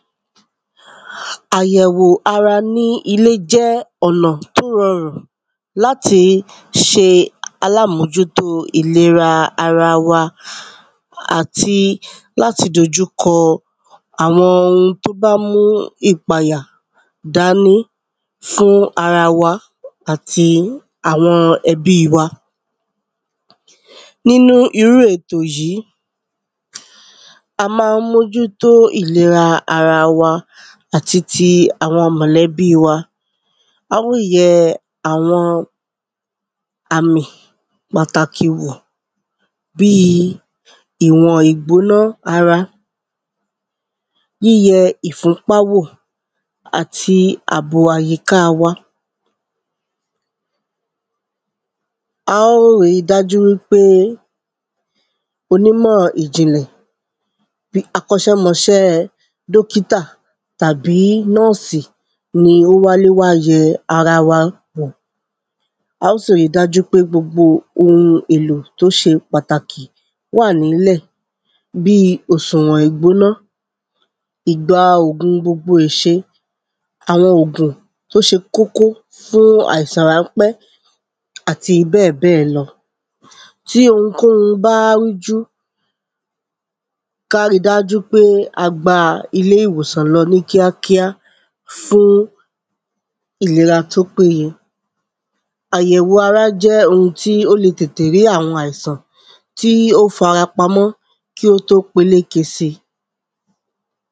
Àyẹ̀wò ara ní ilé jẹ́ ọ̀nà tó rọrùn láti ṣe alámójútó ìlera wa àti láti dojúkọ àwọn ohun tó bá mú ìpayà dání fún ara wa àti àwọn ẹbí wa. Nínú irú ètò yìí a má ń mójútó ìlera ara wa àti ti àwọn mọ̀lẹ̀bí wa á ó yẹ àwọn àmì pàtàkì wò bí ìwọ̀n ìgbóná ara yíyẹ ìfúnpá wò àti àbò àyíká wa. Á ó rí dájú wípé onímọ̀ ìjìnlẹ̀ bí akọ́ṣẹ́mọṣẹ́ dókítà tàbí nọ́ọ̀sì ni ó wálé wá yẹ ara wa wò Á ó sì rí dájú pé gbogbo ohun èlò tó ṣe pàtàkì wà nílẹ̀ bí òsùwọ̀n ìgbóná ìgba òògun gbogbo ìṣe àwọn òògùn tó ṣe kókó fún àìsàn ránpẹ́ àti bẹ́ẹ̀ bẹ́ẹ̀ lọ tí ohunkóhun bá rújú ká rí dájú wípé a gba ilé ìwòsàn lọ ní kíakía fún ìlera tó péyẹ. Àyẹ̀wo ara jẹ́ ohun tí ó le tètè rí àwọn àìsàn tí ó fara pamọ́ kí ó tó peléke sí.